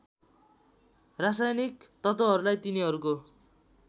रासायनिक तत्त्वहरूलाई तिनीहरूको